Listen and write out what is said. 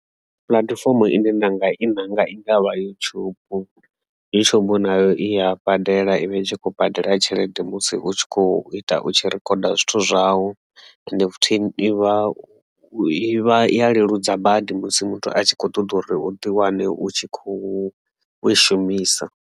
Puḽatifomo ine ndinga i nanga i ngavha YouTube ndi tsho vhona uri i ya badela tshelede musi u tshi kho ita u tshi rikhoda zwithu zwau end futhi ivha u, iya leludza badi musi muthu a tshi kho ṱoḓa uri u ḓiwane u tshi khou u i shumisa.